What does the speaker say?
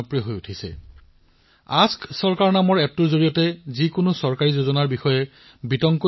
আপুনি কিমান খোজ কাঢ়িলে কিমান কেলৰী বাৰ্ণ কৰিলে এই সকলোবোৰ হিচাপ এই এপটোৱে ৰাখে আৰু আপোনাক ফিট হৈ থাকিবলৈ অনুপ্ৰেৰিত কৰে